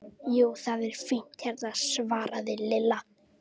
Jú, það er fínt hérna svaraði Lilla.